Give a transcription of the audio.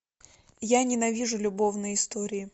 я ненавижу любовные истории